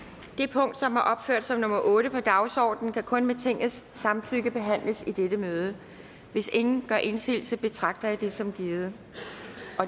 det punkt som er opført som nummer otte på dagsordenen kan kun med tingets samtykke behandles i dette møde hvis ingen gør indsigelse betragter jeg det som givet